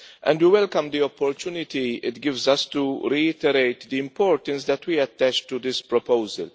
We welcome the opportunity it gives us to reiterate the importance that we attach to this proposal.